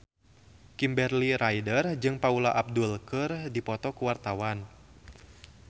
Kimberly Ryder jeung Paula Abdul keur dipoto ku wartawan